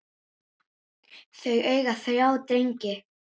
Þau eiga þrjá drengi.